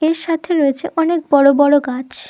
এর সাথে রয়েছে অনেক বড় বড় গাছ।